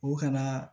O kana